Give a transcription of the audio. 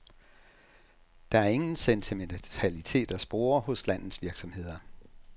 Der er ingen sentimentalitet at spore hos de landets virksomheder.